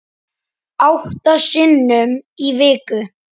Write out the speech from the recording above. Átta sinnum í viku.